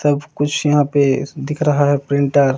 सब कुछ यहा पे दिख रहा है प्रिंटर --